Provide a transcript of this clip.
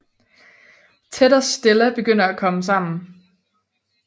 Ted og Stella begynder at komme sammen